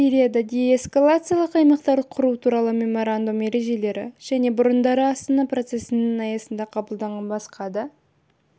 сирияда деэскалациялық аймақтар құру туралы меморандум ережелерін және бұрындары астана процессінің аясында қабылданған басқа да